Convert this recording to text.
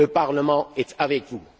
Le Parlement est avec vous.